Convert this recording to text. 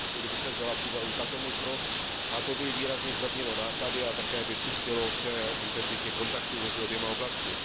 Kdyby se vzala v úvahu tato možnost, výrazně by to zlevnilo náklady a také přispělo k intenzitě kontaktů mezi oběma oblastmi.